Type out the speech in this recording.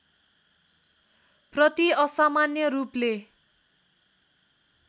प्रति असामान्य रूपले